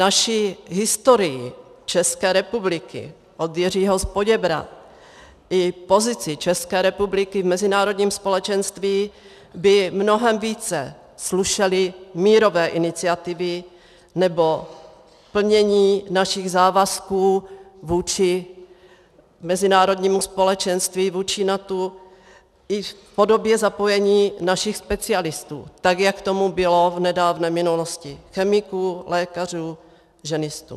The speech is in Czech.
Naší historii České republiky od Jiřího z Poděbrad i pozici České republiky v mezinárodním společenství by mnohem více slušely mírové iniciativy nebo plnění našich závazků vůči mezinárodnímu společenství, vůči NATO i v podobě zapojení našich specialistů tak, jak tomu bylo v nedávné minulosti, chemiků, lékařů, ženistů.